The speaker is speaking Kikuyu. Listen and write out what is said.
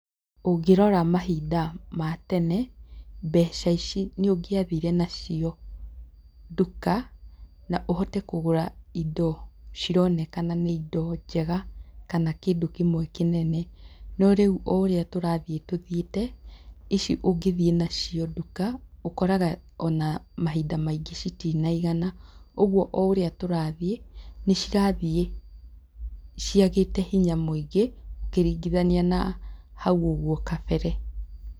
Ũngĩrora mahinda ma tene, mbeca ici nĩ ũngĩathire nacio nduka, na ũhote kũgũra indo cironekana nĩ indo njega, kana kĩndũ kĩmwe kĩnene. No rĩu o ũrĩa tũrathiĩ tuthiĩte, ici ũngĩ thiĩ nacio nduka, ũkoraga ona mahinda maingĩ citinaigana. Ũguo o ũrĩa tũrathiĩ, nĩ cirathiĩ ciagĩte hinya mũingĩ, ũkiringithania na hau ũguo kabere.